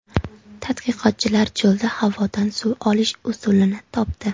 Tadqiqotchilar cho‘lda havodan suv olish usulini topdi.